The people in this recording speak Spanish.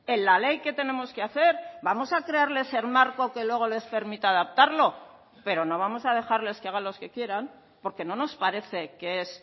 en la ley que tenemos que hacer vamos a traerles el marco que luego les permita adaptarlo pero no vamos a dejarles que hagan los que quieran porque no nos parece que es